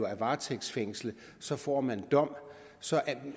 er varetægtsfængslet så får man en dom og så